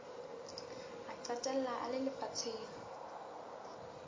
a qetella a le lefatsheng